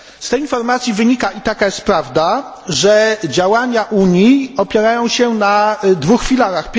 Z tej informacji wynika, i to jest prawda, że działania Unii opierają się na dwóch filarach.